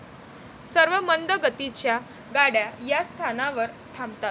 सर्व मंद गतीच्या गाड्या या स्थानावर थांबतात.